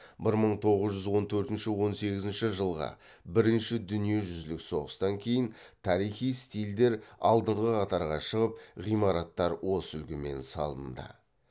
бір мың тоғыз жүз он төртінші он сегізінші жылғы бірінші дүниежүзілік соғыстан кейін тарихи стильдер алдыңғы қатарға шығып ғимараттар осы үлгімен салынды